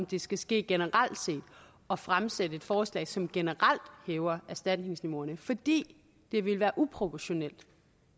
det skal ske generelt set og fremsætte et forslag som generelt hæver erstatningsniveauerne fordi det ville være uproportionelt